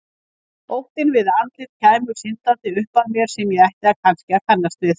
Óttinn við að andlit kæmu syndandi upp að mér sem ég ætti að kannast við.